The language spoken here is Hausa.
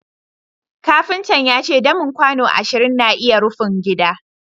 kafinta ya ce damin kwano ashirin na iya rufin gidan